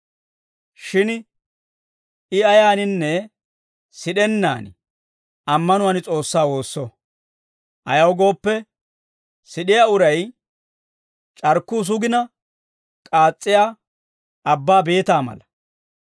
Shin I ayaaninne sid'ennaan ammanuwaan S'oossaa woosso. Ayaw gooppe, sid'iyaa uray c'arkkuu sugina k'aas's'iyaa abbaa beetaa mala.